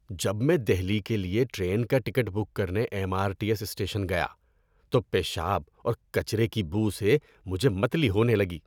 جب میں دہلی کے لیے ٹرین کا ٹکٹ بک کرنے M R T S station گیا تو پیشاب اور کچرے کی بو سے مجھے متلی ہونے لگی۔